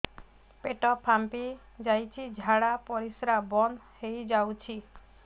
ପେଟ ଫାମ୍ପି ଯାଇଛି ଝାଡ଼ା ପରିସ୍ରା ବନ୍ଦ ହେଇଯାଇଛି